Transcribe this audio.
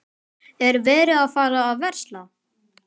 Er verið að fara að versla?